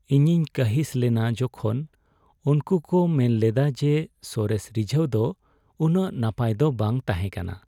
ᱤᱧᱤᱧ ᱠᱟᱺᱦᱤᱥ ᱞᱮᱱᱟ ᱡᱚᱠᱷᱚᱱ ᱩᱱᱠᱩ ᱠᱚ ᱢᱮᱱ ᱞᱮᱫᱟ ᱡᱮ ᱥᱚᱨᱮᱥ ᱨᱤᱡᱷᱟᱹᱣ ᱫᱚ ᱩᱱᱟᱹᱜ ᱱᱟᱯᱟᱭ ᱫᱚ ᱵᱟᱝ ᱛᱟᱦᱮᱸ ᱠᱟᱱᱟ ᱾